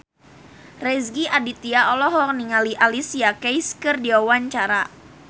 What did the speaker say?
Rezky Aditya olohok ningali Alicia Keys keur diwawancara